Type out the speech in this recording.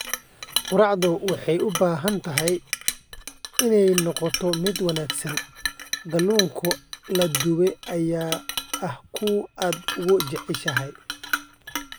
Quraacdu waxay u baahan tahay inay noqoto mid wanaagsan. Kalluunka la dubay ayaa ah kuwa aad ugu jeceshahay.